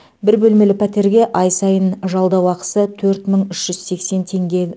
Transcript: бір бөлмелі пәтерге ай сайын жалдау ақысы төрт мың үш жүз сексен теңге